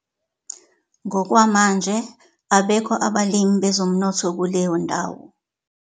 Ngokwamanje abekho abalimi bezomnotho kuleyo ndawo!